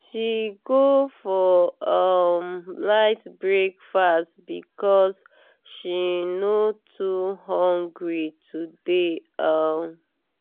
she go for um light breakfast because she no too hungry today. um